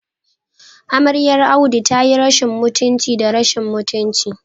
Amaryar Audu tayi rashin mutunci da rashin mutunci